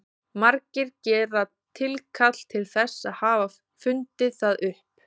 Margir gera tilkall til þess að hafa fundið það upp.